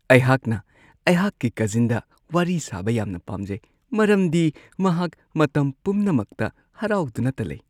ꯑꯩꯍꯥꯛꯅ ꯑꯩꯍꯥꯛꯀꯤ ꯀꯖꯤꯟꯗ ꯋꯥꯔꯤ ꯁꯥꯕ ꯌꯥꯝꯅ ꯄꯥꯝꯖꯩ ꯃꯔꯝꯗꯤ ꯃꯍꯥꯛ ꯃꯇꯝ ꯄꯨꯝꯅꯃꯛꯇ ꯍꯔꯥꯎꯗꯨꯅꯇ ꯂꯩ ꯫